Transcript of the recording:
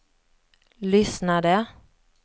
lyssnade